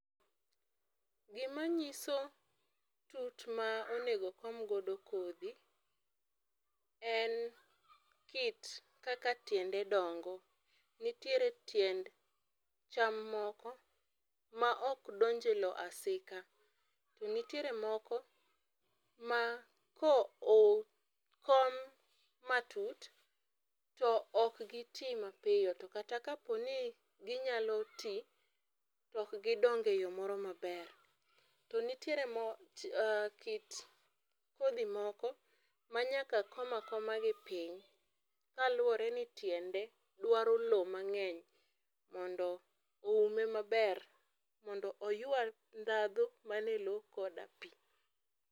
gima nyiso tut ma onego kom godo kodhi, en kit kaka tiende dongo . Nitiere tiend cham moko ma ok donj e lowo asika to nitiere moko ma koo kom matut to ok kiti mapiyo to kaponi ginyalo tii ok gidong e yoo moro maber. To nitie kit kodhi moko manyaka koma koma gi piny kaluwore ni tiende dwaro lowo mang'eny mondo oume maber mondo oywa ndadhu man e lowo koda pii.